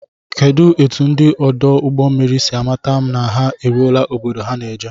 Kedụ etụ ndị ọdụ ụgbọ mmiri si amata na ha eruọla obodo ha ná-eje?